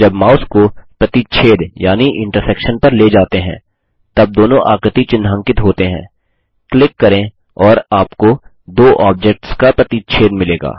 जब माउस को प्रतिच्छेद यानि इन्टर्सेक्शन पर ले जाते हैं तब दोनों आकृति चिन्हांकित होते हैंक्लिक करें और आपको दो ऑब्जेक्ट्स का प्रतिच्छेद मिलेगा